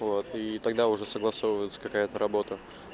вот и тогда уже согласовывается какая-то работа